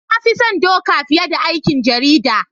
Na fi son Doka fiye da aikin jarida.